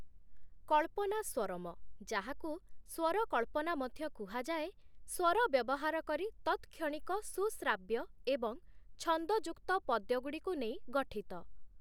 କଳ୍ପନାସ୍ୱରମ' ଯାହାକୁ ସ୍ୱରକଳ୍ପନା ମଧ୍ୟ କୁହାଯାଏ, ସ୍ୱର ବ୍ୟବହାର କରି ତତ୍‌କ୍ଷ‌ଣିକ ସୁଶ୍ରାବ୍ୟ ଏବଂ ଛନ୍ଦଯୁକ୍ତ ପଦ୍ୟଗୁଡ଼ିକୁ ନେଇ ଗଠିତ ।